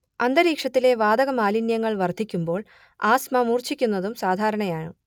അന്തരീക്ഷത്തിലെ വാതകമാലിന്യങ്ങൾ വർദ്ധിക്കുമ്പോൾ ആസ്മ മൂർച്ഛിക്കുന്നതും സാധാരണയാണ്